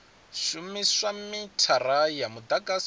u shumisa mithara ya mudagasi